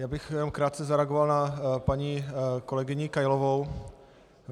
Já bych jenom krátce zareagoval na paní kolegyni Kailovou.